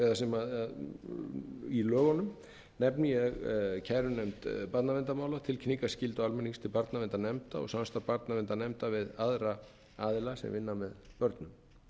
eða í lögunum nefni ég kærunefnd barnaverndarmála tilkynningarskyldu almennings til barnaverndarnefnda og samstarf barnaverndarnefnda við aðra aðila sem vinna með börnum